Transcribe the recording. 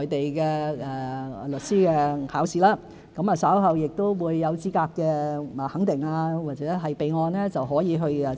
內地的律師考試，稍後取得資格肯定或備案後，便可執業。